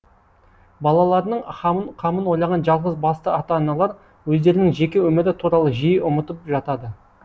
балаларының қамын ойлаған жалғыз басты ата аналар өздерінің жеке өмірі туралы жиі ұмытып жатады